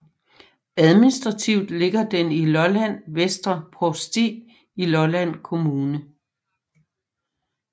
Administrativt ligger den i Lolland Vestre Provsti i Lolland Kommune